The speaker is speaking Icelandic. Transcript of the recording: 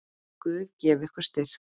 Guð gefi ykkur styrk.